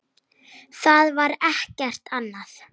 Það var ekkert annað.